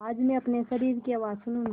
आज मैं अपने शरीर की आवाज़ सुनूँगी